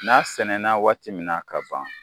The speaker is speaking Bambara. N'a sɛnɛna waati min na ka ban